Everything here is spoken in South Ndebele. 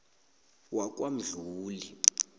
wakwamdluli